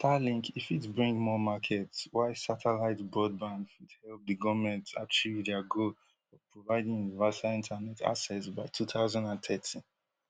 starlink e fit bring more market while satellite broadband fit help di goment achieve dia goal of providing universal internet access by two thousand and thirty